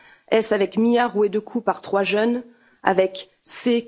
Est ce avec Mya, rouée de coups par trois jeunes? Avec C.,